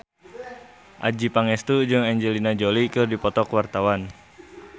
Adjie Pangestu jeung Angelina Jolie keur dipoto ku wartawan